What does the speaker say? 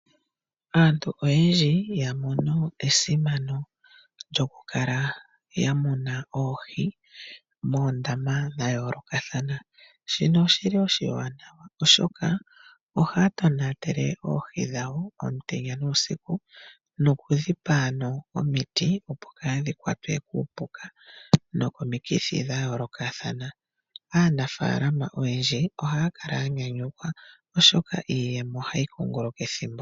Aantu oyendji yamono esimano lyokukala yamuna oohi moondama dhayoolokathana. Shino oshili oshiwanawa oshoka, ohaatonatele oohi dhawo omutenya nuusiku nokudhipa ano omiti opo kaadhikwatwe kuupuka nokomikithi dhayolokathana. Aanafalama oyendji ohaakala yanyanyukwa oshoka, iiyemo ohayikunguluka ethimbo keshe.